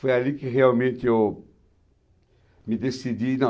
Foi ali que realmente eu me decidi.